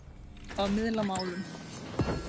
Að miðla málum